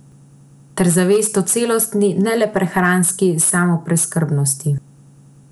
Ter zavest o celostni, ne le prehranski, samopreskrbnosti.